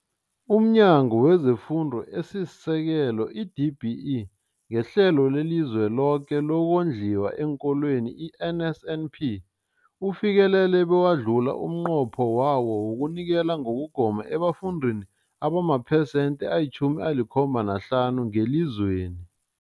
UmNyango wezeFundo esiSekelo, i-DBE, ngeHlelo leliZweloke lokoNdliwa eenKolweni, i-NSNP, ufikelele bewadlula umnqopho wawo wokunikela ngokugoma ebafundini abamaphesenthe ayi-75 ngelizweni.